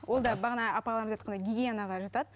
ол да бағана апаларымыз айтқандай гигиенаға жатады